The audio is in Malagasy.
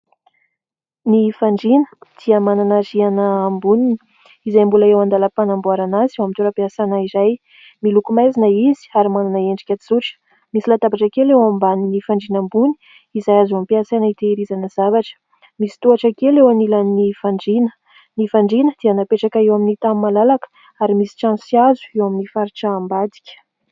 Ny fandriana dia manana rihana amboniny izay mbola eo an-dalam-panamboarana azy eo amin'ny toeram-piasana iray. Miloko maizina izy ary manana endrika tsotra. Misy latabatra kely eo ambany fandriana ambony izay azo ampiasaina hitehirizana zavatra. Misy tohatra kely eo an'ilany fandriana. Ny fandriana dia napetraka eo amin'ny tany malalaka ary misy trano sy hazo eo amin'ny faritra ambadika.